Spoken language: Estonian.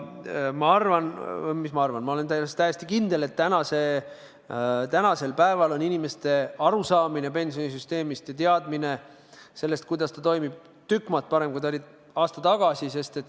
Ma arvan – või mis ma arvan, ma olen täiesti kindel –, et tänasel päeval on inimeste arusaamine pensionisüsteemist ja teadmine, kuidas see toimib, tükk maad parem kui aasta tagasi.